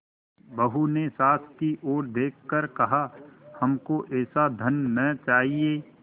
बहू ने सास की ओर देख कर कहाहमको ऐसा धन न चाहिए